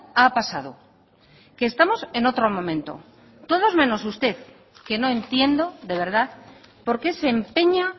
ha pasado que estamos en otro momento todos menos usted que no entiendo de verdad por qué se empeña